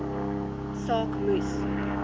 saak moes